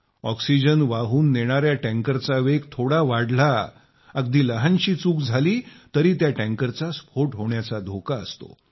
oxygen वाहून नेणाया टँकरचा वेग थोडा वाढला अगदी लहानशी चूक झाली तर त्या टँकरचा स्फोट होण्याचा धोका असतो